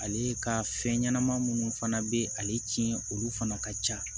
Ale ka fɛn ɲɛnama minnu fana bɛ ale tiɲɛ olu fana ka ca